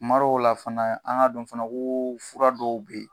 Kumadɔw la fana an ka dɔn fana ko fura dɔw be yen